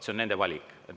See on nende valik.